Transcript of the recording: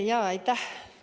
Jaa, aitäh!